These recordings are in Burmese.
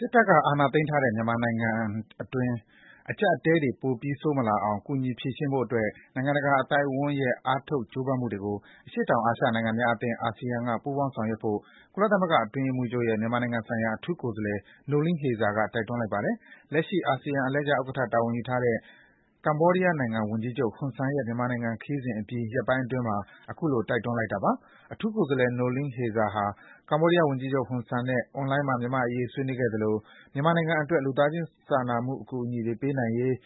စ်တပ်က အာဏာသိမ်းထားတဲ့ မြန်မာနိုင်ငံတွင်း အကျပ်အတည်းတွေ ပိုပြီး ဆိုးမလာအောင် ကူညီဖြေရှင်းဖို့အတွက် နိုင်ငံတကာအသိုက်အဝန်းရဲ့ အားထုတ် ကြိုးပမ်းမှုတွေကို အရှေ့တောင်အာရှနိုင်ငံများအသင်း (ASEAN) က ပူးပေါင်း ဆောင်ရွက်ဖို့ ကုလသမဂ္ဂ အတွင်းရေးမှူးချုပ်ရဲ့ မြန်မာနိုင်ငံဆိုင်ရာ အထူးကိုယ်စားလှယ် Noeleen Heyzer က တိုက်တွန်းလိုက်ပါတယ်။ လက်ရှိ အာဆီယံ အလှည့်ကျဥက္ကဋ္ဌ တာဝန်ယူထားတဲ့ ကမ္ဘောဒီးယားဝန်ကြီးချုပ် ဟွန်ဆန်ရဲ့ မြန်မာနိုင်ငံခရီးစဉ်အပြီး ရက်ပိုင်းအတွင်းမှာပဲ ခုလို တိုက်တွန်းလိုက်တာပါ။ အထူးကိုယ်စားလှယ် Noeleen Heyzer ဟာ ကမ္ဘောဒီးယားဝန်ကြီးချုပ် ဟွန်ဆန်နဲ့ အွန်လိုင်းမှာ မြန်မာ့အရေး ဆွေးနွေးခဲ့သလို မြန်မာနိုင်ငံအတွက် လူသားစာနာမှုအကူအညီတွေ ပေးနိုင်ရေး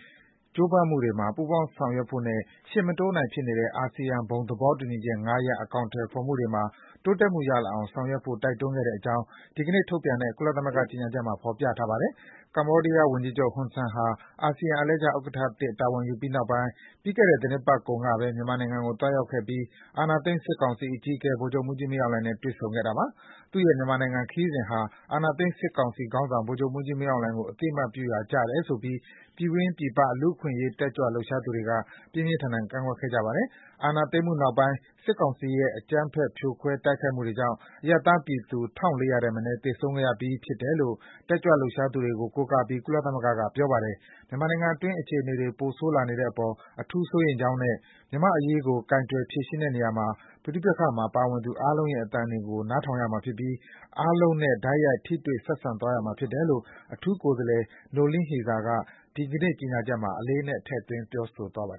ကြိုးပမ်းမှုတွေမှာ ပူးပေါင်းဆောင်ရွက်ဖို့နဲ့ ရှေ့မတိုးနိုင်ဖြစ်နေတဲ့ အာဆီယံ ဘုံသဘောတူညီချက် ၅ ရပ် အကောင်အထည်ဖော်မှုတွေမှာ တိုးတက်မှုရလာအောင် ဆောင်ရွက်ဖို့ တိုက်တွန်းခဲ့တဲ့အကြောင်း ဒီကနေ့ထုတ်ပြန် တဲ့ ကုလသမဂ္ဂ ကြေညာချက်မှာ ဖော်ပြထားပါတယ်။ ကမ္ဘောဒီးယားဝန်ကြီးချုပ် ဟွန်ဆန်ဟာ အာဆီယံ အလှည့်ကျဥက္ကဋ္ဌသစ် တာဝန် ယူပြီးနောက်ပိုင်း ပြီးခဲ့တဲ့ သီတင်းပတ်ကုန်ကပဲ မြန်မာနိုင်ငံကို သွားရောက်ခဲ့ပြီး အာဏာသိမ်း စစ်ကောင်စီအကြီးအကဲ ဗိုလ်ချုပ်မှူးကြီး မင်းအောင်လှိုင်နဲ့ တွေ့ဆုံခဲ့တာပါ။ သူ့ရဲ့ မြန်မာခရီးစဉ်ဟာ အာဏာသိမ်းစစ်ကောင်စီခေါင်းဆောင် ဗိုလ်ချုပ် မှူးကြီးမင်းအောင်လှိုင်ကို အသိအမှတ်ပြုရာကျတယ်ဆိုပြီး ပြည်တွင်း ပြည်ပ လူ့ အခွင့်အရေး တက်ကြွလှုပ်ရှားသူတွေက ပြင်းပြင်းထန်ထန် ကန့်ကွက်ခဲ့ကြပါတယ်။ အာဏာသိမ်းမှုနောက်ပိုင်း စစ်ကောင်စီရဲ့ အကြမ်းဖက် ဖြိုခွဲ တိုက်ခိုက်မှုတွေကြောင့် အရပ်သားပြည်သူ ၁,၄၀၀ ထက်မနည်း သေဆုံးခဲ့ရပြီး ဖြစ်တယ်လို့ တက်ကြွလှုပ်ရှားသူတွေကို ကိုးကားပြီး ကုသလမဂ္ဂက ပြောပါတယ်။ မြန်မာနိုင်ငံတွင်း အခြေအနေတွေ ပိုဆိုးလာနေတဲ့အပေါ် အထူးစိုးရိမ်ကြောင်းနဲ့ မြန်မာ့အရေးကို ကိုင်တွယ်ဖြေရှင်းတဲ့နေရာမှာ ပဋိပက္ခမှာ ပါဝင်သူအားလုံးရဲ့ အသံတွေကို နားထောင်ရမှာဖြစ်ပြီး အားလုံးနဲ့ တိုက်ရိုက် ထိတွေ့ဆက်ဆံသွားရမှာ ဖြစ်တယ်လို့ အထူး ကိုယ်စားလှယ် Noeleen Heyzer က ဒီကနေ့ ကြေညာချက်မှာ အလေးအနက် ထည့်သွင်း ပြောဆိုထားပါတယ်